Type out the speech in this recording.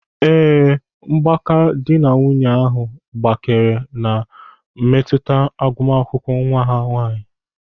Ee, mgbake dị na nwunye ahụ gbakere na-emetụta agumakwụkwọ nwa ha nwaanyị.